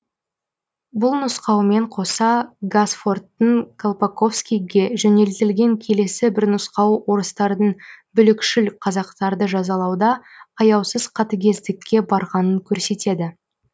бұл нұсқаумен қоса гасфордтың колпаковскийге жөнелтілген келесі бір нұсқауы орыстардың бүлікшіл қазақтарды жазалауда аяусыз қатыгездікке барғанын көрсетеді